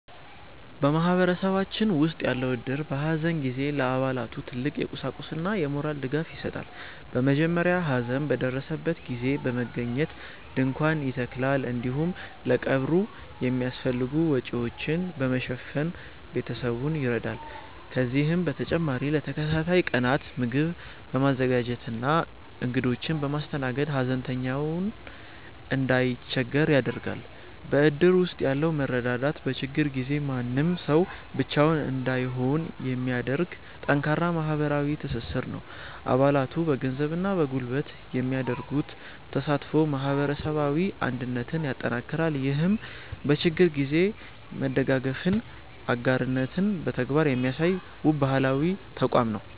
በማህበረሰባችን ውስጥ ያለው እድር፣ በሐዘን ጊዜ ለአባላቱ ትልቅ የቁሳቁስና የሞራል ድጋፍ ይሰጣል። በመጀመሪያ ሐዘን በደረሰበት ቤት በመገኘት ድንኳን ይተከላል፤ እንዲሁም ለቀብሩ የሚያስፈልጉ ወጪዎችን በመሸፈን ቤተሰቡን ይረዳል። ከዚህም በተጨማሪ ለተከታታይ ቀናት ምግብ በማዘጋጀትና እንግዶችን በማስተናገድ፣ ሐዘንተኛው እንዳይቸገር ያደርጋል። በእድር ውስጥ ያለው መረዳዳት፣ በችግር ጊዜ ማንም ሰው ብቻውን እንዳይሆን የሚያደርግ ጠንካራ ማህበራዊ ትስስር ነው። አባላቱ በገንዘብና በጉልበት የሚያደርጉት ተሳትፎ ማህበረሰባዊ አንድነትን ያጠናክራል። ይህም በችግር ጊዜ መደጋገፍንና አጋርነትን በተግባር የሚያሳይ፣ ውብ ባህላዊ ተቋም ነው።